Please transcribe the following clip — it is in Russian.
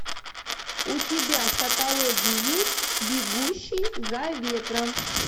у тебя в каталоге есть бегущий за ветром